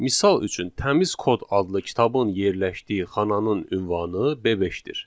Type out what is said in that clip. Misal üçün təmiz kod adlı kitabın yerləşdiyi xananın ünvanı B5-dir.